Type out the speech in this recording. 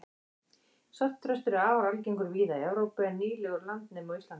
svartþröstur er afar algengur víða í evrópu en nýlegur landnemi á íslandi